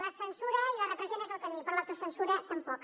la censura i la repressió no és el camí però l’autocensura tampoc